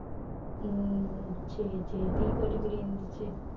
உம் சரி சரி tea போட்டுக் குடி எந்திருச்சு